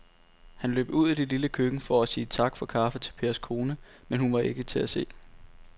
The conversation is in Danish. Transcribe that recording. Han løb ud i det lille køkken for at sige tak for kaffe til Pers kone, men hun var ikke til at se.